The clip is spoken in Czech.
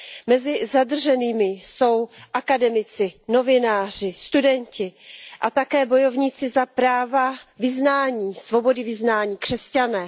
Mezi zadrženými jsou akademici, novináři, studenti a také bojovníci za práva vyznání, svobody vyznání, křesťané.